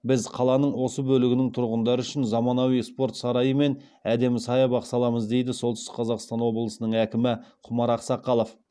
біз қаланың осы бөлігінің тұрғындары үшін заманауи спорт сарайы мен әдемі саябақ саламыз дейді солтүстік қазақстан облысының әкімі құмар ақсақалов